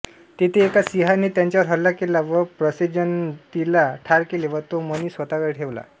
तेथे एका सिंहाने त्याच्यावर हल्ला केला व प्रसेनजीतला ठार केले व तो मणी स्वतःकडे ठेवला